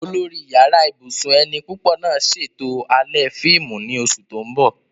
Olórí Yàrá ibùsùn ẹni púpọ̀ náà ṣètò alẹ́ fíìmù ní oṣù tó ń bọ̀